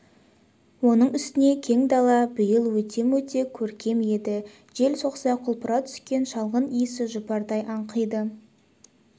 оның үстіне кең дала биыл өте-мөте көркем еді жел соқса құлпыра түскен шалғын иісі жұпардай аңқиды